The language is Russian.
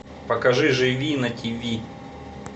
покажи живи на тв